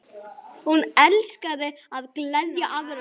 Hún elskaði að gleðja aðra.